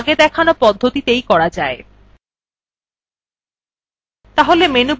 এটি আগে দেখানো পদ্ধতিতেই করা যায় way